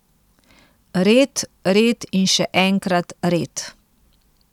Red, red in še enkrat red.